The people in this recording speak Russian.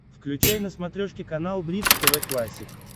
включай на смотрешке канал бридж тв классик